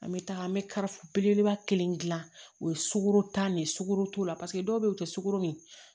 An bɛ taa an bɛ ka belebeleba kelen gilan o ye sukoro ta de ye sukoro t'o la paseke dɔw bɛ ye o tɛ sukɔro min ye